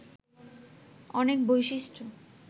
অনেক বৈশিষ্ট্য